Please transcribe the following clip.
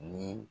Ni